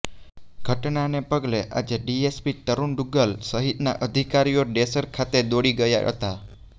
ઘટનાને પગલે આજે ડીએસપી તરૃણ દુગ્ગલ સહિતના અધિકારીઓ ડેસર ખાતે દોડી ગયા હતા